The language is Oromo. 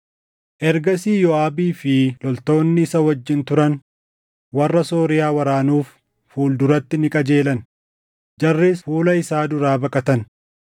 Ergasii Yooʼaabii fi loltoonni isa wajjin turan warra Sooriyaa waraanuuf fuul duratti ni qajeelan; jarris fuula isaa duraa baqatan.